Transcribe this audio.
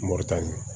Moritani